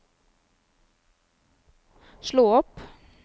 slå opp